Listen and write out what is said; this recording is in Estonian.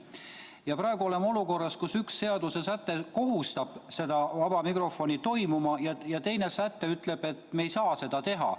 Ja praegu oleme olukorras, kus üks seaduse säte kohustab seda vaba mikrofoni toimuma ja teine säte ütleb, et me ei pruugi saada seda teha.